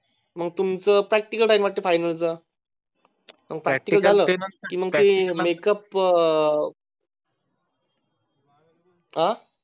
मग तुमचं Practical राहील वाटत Final च ते make up अं